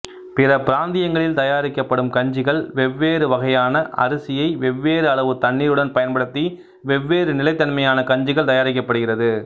பிற பிராந்தியங்களில் தயாரிக்கப்படும் கஞ்சிகள் வெவ்வேறு வகையான அரிசியை வெவ்வேறு அளவு தண்ணீருடன் பயன்படுத்தி வெவ்வேறு நிலைத்தன்மையான கஞ்சிகள் தயாரிக்கப்படுகிறது